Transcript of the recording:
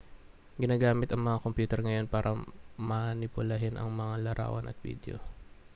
ginagamit ang mga kompyuter ngayon para manipulahin ang mga larawan at bidyo